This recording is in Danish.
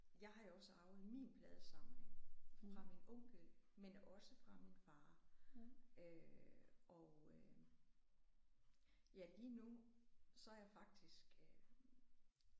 Jeg har jo også arvet min pladesamling fra min onkel men også fra min far øh og øh ja lige nu så er jeg faktisk øh